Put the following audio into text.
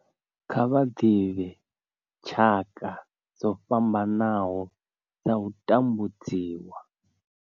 Kha vha ḓivhe tshaka dzo fhambanaho dza u tambudziwa.